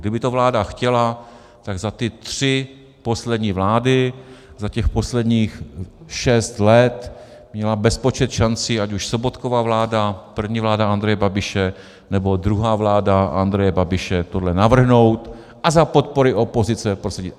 Kdyby to vláda chtěla, tak za ty tři poslední vlády, za těch posledních šest let měla bezpočet šancí, ať už Sobotkova vláda, první vláda Andreje Babiše, nebo druhá vláda Andreje Babiše, tohle navrhnout a za podpory opozice prosadit.